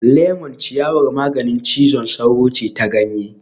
Lemon ciyawar maganin cizon sauro ce ta ganye